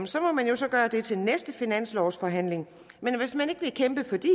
så må man så gøre det til næste finanslovsforhandling men hvis man ikke vil kæmpe for de